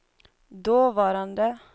dåvarande